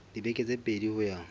dibeke tse pedi ho ya